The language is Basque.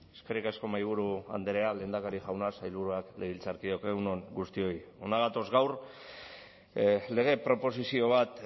eskerrik asko mahaiburu andrea lehendakari jauna sailburuak legebiltzarkideok egun on guztioi hona gatoz gaur lege proposizio bat